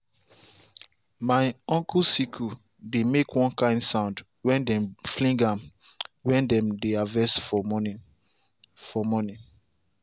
my uncle sickle dey make one kind sound when dem fling am when dem dey harvest for morning. for morning.